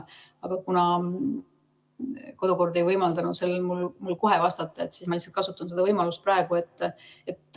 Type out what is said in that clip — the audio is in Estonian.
Aga kuna kodukord ei võimaldanud mul kohe vastata, siis ma lihtsalt kasutan seda võimalust.